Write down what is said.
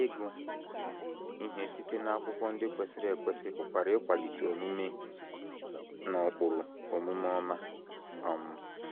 Ịgụ ihe site n’akwụkwọ ndị kwesịrị ekwesị pụkwara ịkwalite omume na ụkpụrụ omume ọma. um